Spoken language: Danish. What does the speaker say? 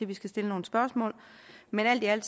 vi skal stille nogle spørgsmål men alt i alt